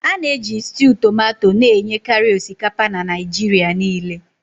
A na-eji stew tomato na-enyekarị osikapa na Naịjirịa niile.